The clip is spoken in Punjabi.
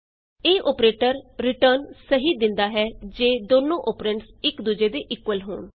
ਇਹ ਅੋਪਰੇਟਰ ਰਿਟਰਨ ਸਹੀ ਦਿੰਦਾ ਹੈ ਜੇ ਦੋਨੋ ਅੋਪਰੈਂਡਸ ਇਕ ਦੂਜੇ ਦੇ ਇਕੁਅਲ ਹੋਣ